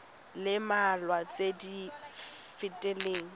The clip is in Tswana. le mmalwa tse di fetileng